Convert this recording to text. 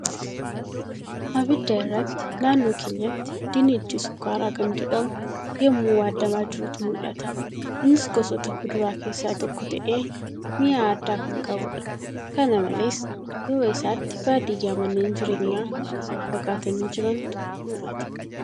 Abidda irratti naannoo keenyatti dinnichi sukkaaraa kan jedhamuu yemmuu waaddaamaa jirutu mul'ata. Innis gosoota kuduraa keessaa tokko ta'ee mi'aa addaa kan qabuudha. Kana malees, Duuba isaatti baadiyyaa manneen jireenyaa walirraa fagaatanii jirantu mul'ata.